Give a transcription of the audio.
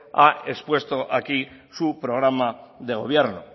ha expuesto aquí su programa de gobierno